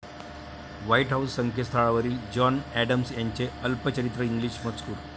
white House संकेतस्थळावरील John Adams यांचे अल्पचरित्र इंग्लिश मजकूर